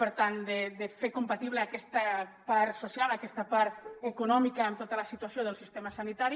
per tant de fer compatible aquesta part social aquesta part econòmica amb tota la situació del sistema sanitari